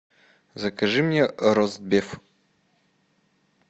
закажи мне ростбиф